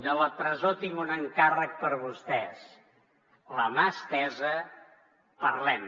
de la presó tinc un encàrrec per vostès la mà estesa parlem